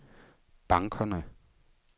bankerne